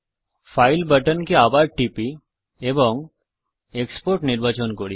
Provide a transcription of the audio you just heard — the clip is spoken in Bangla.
ফাইল বাটনকে আবার টিপি এবং এক্সপোর্ট নির্বাচন করি